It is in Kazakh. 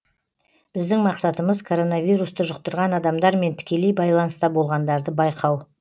біздің мақсатымыз коронавирусты жұқтырған адамдармен тікелей байланыста болғандарды байқау